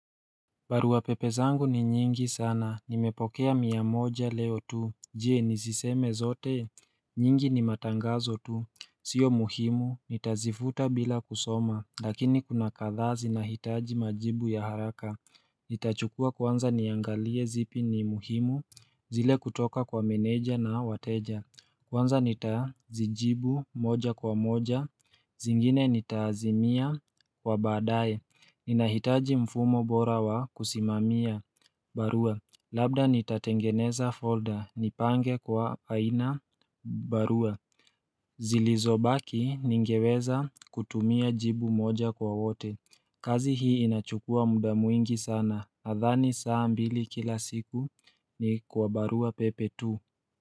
Baruapepe zangu ni nyingi sana, nimepokea mia moja leo tu, je niziseme zote, nyingi ni matangazo tu, sio muhimu, nitazifuta bila kusoma, lakini kuna kadhaa zinahitaji majibu ya haraka Nitachukua kwanza niangalie zipi ni muhimu, zile kutoka kwa meneja na wateja. Kwanza nitazijibu moja kwa moja, zingine nitaazimia kwa baadaye. Ninahitaji mfumo bora wa kusimamia barua. Labda nitatengeneza folder, nipange kwa aina barua. Zilizobaki ningeweza kutumia jibu moja kwa wote. Kazi hii inachukua muda mwingi sana, nadhani saa mbili kila siku ni kwa baruapepe tu.